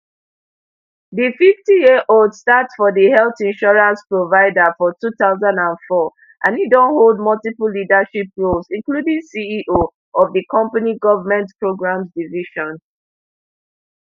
di fiftyyearold start for di health insurance provider for two thousand and four and e don hold multiple leadership roles including ceo of di company government programs division